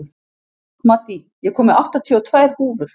Maddý, ég kom með áttatíu og tvær húfur!